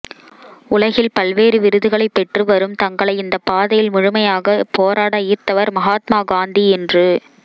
உலகில் பல்வேறு விருதுகளை பெற்று வரும்தங்களை இந்தப் பாதையில் முழுமையாக போராடஈர்த்தவர் மகாத்மா காந்தி என்று